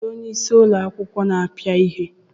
Kedụ onyeisí ụlọ akwụkwọ na-apịa ihe?